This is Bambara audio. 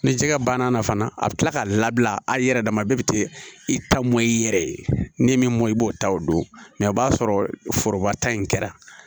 Ni jɛgɛ banna fana a bi kila k'a labila hali yɛrɛ dama bɛɛ bi t'i ta mɔn i yɛrɛ ye n'i m'i mɔ i b'o ta o don mɛ o b'a sɔrɔ foroba ta in kɛra